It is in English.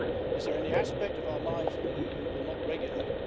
Is there any aspect of our lives that the EU will not regulate?